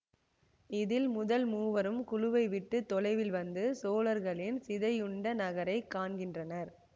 இதில் முதல் மூவரும் குழுவை விட்டு தொலைவில் வந்து சோழர்களின் சிதையுண்ட நகரை காண்கிறனர்